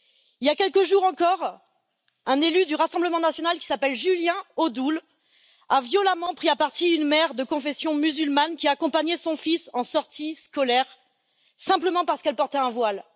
Il y a quelques jours encore, un élu du Rassemblement national, Julien Odoul, a violemment pris à partie une mère de confession musulmane qui accompagnait son fils en sortie scolaire, simplement parce qu'elle portait un voile.